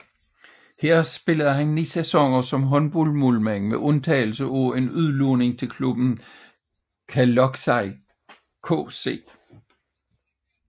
Her spillede han ni sæsoner som håndboldmålmand med undtagelse af en udlågning til klubben Kalocsai KC